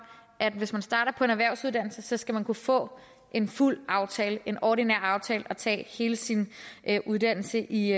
at hvis man starter på en erhvervsuddannelse skal man kunne få en fuld aftale en ordinær aftale og tage hele sin uddannelse i